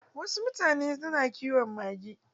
Wasu mutane na kiwon mage.